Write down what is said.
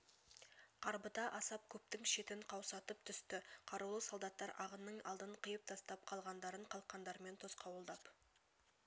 қарбыта асап көпткң шетін қаусатып түстә қарулы солдаттар ағынның алдын қиып тастап қалғандарын қалқандарымен тосқауылдап